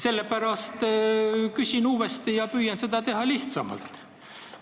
Sellepärast küsin uuesti ja püüan seda teha lihtsamalt.